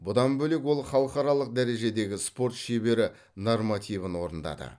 бұдан бөлек ол халықаралық дәрежедегі спорт шебері нормативін орындады